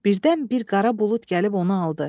Birdən bir qara bulud gəlib onu aldı.